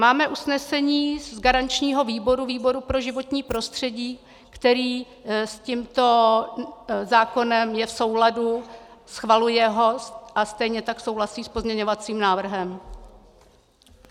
Máme usnesení z garančního výboru, výboru pro životní prostředí, který s tímto zákonem je v souladu, schvaluje ho, a stejně tak souhlasí s pozměňovacím návrhem.